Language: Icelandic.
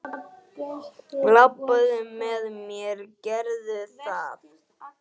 Labbaðu með mér, gerðu það!